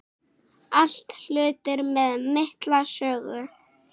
Allt hlutir með mikla sögu.